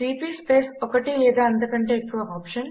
CP space ఒకటి లేదా అంతకంటే ఎక్కువ OPTION